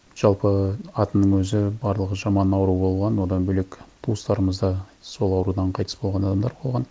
жалпы атының өзі барлығы жаман ауру болған одан бөлек туыстарымыз да сол аурудан қайтыс болған адамдар болған